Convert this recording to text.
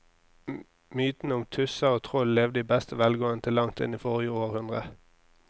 Mytene om tusser og troll levde i beste velgående til langt inn i forrige århundre.